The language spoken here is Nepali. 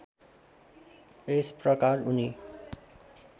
यस प्रकार उनी